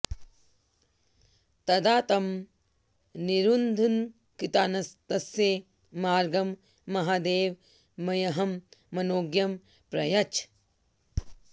तदा तं निरुन्धन्कृतान्तस्य मार्गं महादेव मह्यं मनोज्ञं प्रयच्छ